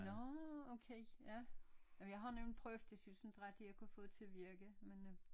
Nårh okay ja jamen jeg har nemlig prøvet det jeg synes ikke rigtig jeg har fået det til at virke men øh